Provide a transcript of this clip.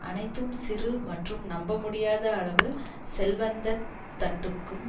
அனைத்தும் சிறு மற்றும் நம்ப முடியாத அளவு செல்வந்த தட்டுக்கும்